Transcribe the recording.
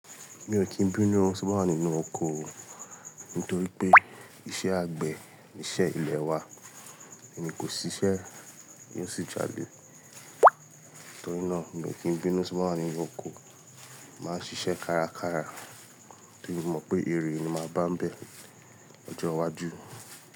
Mi ò kí n bínú ti mo bàá wa nínú oko nítorí pé iṣẹ́ àgbẹ̀ ni iṣẹ́ ilè wa, èni kò ṣiṣẹ́ yóò sì jále. Nítorí náà mi ò kí n bínú ti mo bàá wa nínú oko, màá ṣiṣẹ́ kárakára torí mo mọ̀ pé èrè ni màá bá n bẹ̀ lọ́jọ́ iwájú.